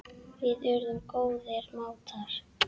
Við urðum góðir mátar.